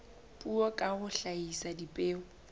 puo ka ho hlahisa dipheo